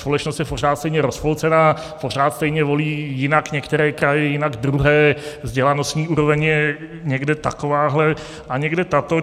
Společnost je pořád stejně rozpolcená, pořád stejně volí, jinak některé kraje, jinak druhé, vzdělanostní úroveň je někde takováhle a někde taková.